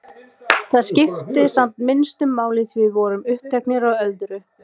Það skipti samt minnstu máli því við vorum uppteknar af öðru.